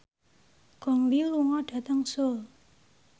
Gong Li lunga dhateng Seoul